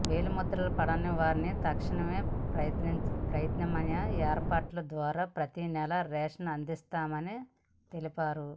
వేలిముద్రలు పడని వారికి తక్షణం ప్రత్యామ్నాయ ఏర్పాట్ల ద్వారా ప్రతి నెలా రేషన్ అందిస్తున్నామని తెలిపారు